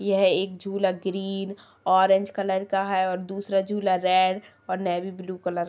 यह एक झुला ग्रीन ऑरेंज कलर का है और दूसरा झुला रेड और नेवी ब्लू कलर --